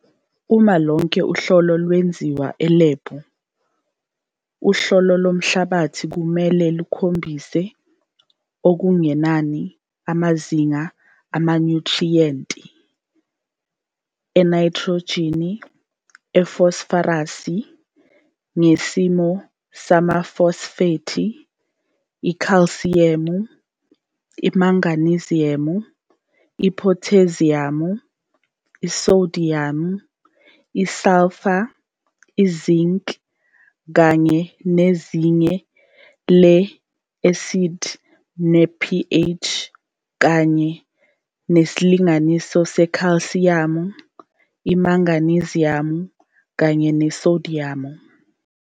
Uma lonke uhlolo lwenziwe elebhu, uhlolo lomhlabathi kumele lukhombise okungenani amazinga amanyuthriyenti enayithrojini, ifosforasi ngesimo samafosfethi, ikhalsiyamu, imagneziyamu, iphotheziyamu, isodiyamu, isalfa, izinc kanye nezinga le-esidi noma lepH kanye nesilinganiso sekhalsiyamu, imagneziyamu kanye nesodiyamu.